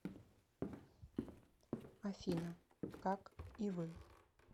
афина как и вы